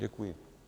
Děkuji.